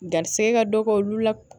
Garisigɛ ka dɔgɔ olu la